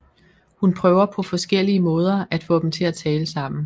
Hun prøver på forskellige måder at få dem til at tale sammen